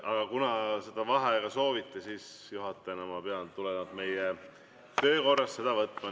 Aga kuna vaheaega sooviti, siis juhatajana pean ma tulenevalt meie töökorrast selle võtma.